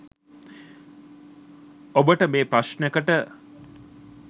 ඔබට මේ ප්‍රශ්නකට